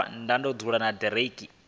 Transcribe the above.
u vhona uri hu vhe